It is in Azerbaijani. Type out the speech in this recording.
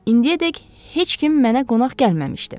İndiyədək heç kim mənə qonaq gəlməmişdi.